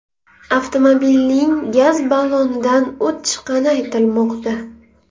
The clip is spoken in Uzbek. Avtomobilning gaz ballonidan o‘t chiqqani aytilmoqda.